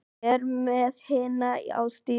Er með hina á stýrinu.